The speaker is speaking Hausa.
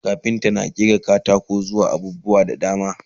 kafinta na ƙera katako zuwa abubuwa da dama